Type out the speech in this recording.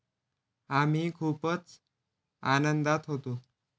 आम्ही खूपच आनंदात होतो.